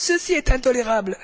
Ceci est intolérable!